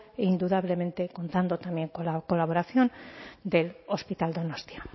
e indudablemente contando también con la colaboración del hospital donostia